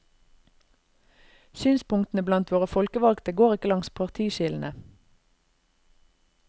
Synspunktene blant våre folkevalgte går ikke langs partiskillene.